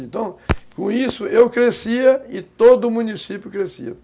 Então, com isso, eu crescia e todo o município crescia.